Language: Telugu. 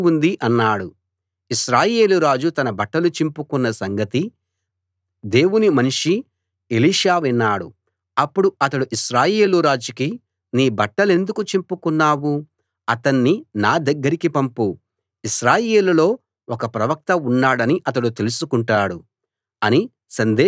ఇశ్రాయేలు రాజు తన బట్టలు చింపుకొన్న సంగతి దేవుని మనిషి ఎలీషా విన్నాడు అప్పుడు అతడు ఇశ్రాయేలు రాజుకి నీ బట్టలెందుకు చింపుకున్నావు అతణ్ణి నా దగ్గరికి పంపు ఇశ్రాయేలులో ఒక ప్రవక్త ఉన్నాడని అతడు తెలుసుకుంటాడు అని సందేశం పంపించాడు